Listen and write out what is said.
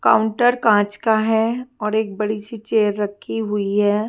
Counter कांच का है और एक बड़ी से चेयर रखी हुई है।